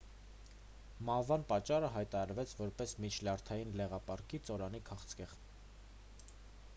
մահվան պատճառը հայտարարվեց որպես միջլյարդային լեղապարկի ծորանի քաղցկեղ